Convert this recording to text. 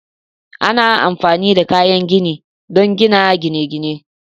Ana amfani da kayan gini don gina gine-gine